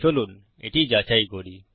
চলুন এটি যাচাই করি